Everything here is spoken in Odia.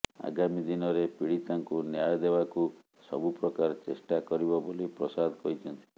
ଆଗାମୀ ଦିନରେ ପୀଡିତାଙ୍କୁ ନ୍ୟାୟ ଦେବାକୁ ସବୁପ୍ରକାର ଚେଷ୍ଟା କରିବ ବୋଲି ପ୍ରସାଦ କହିଛନ୍ତି